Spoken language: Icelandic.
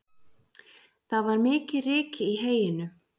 Það var mikið ryk í heyinu